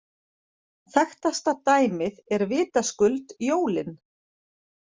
Þekktasta dæmið er vitaskuld jólin.